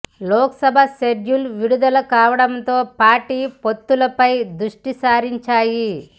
Lok Sabha schedule విడుదల కావడంతో పార్టీలు పొత్తులపై దృష్టిసారించాయి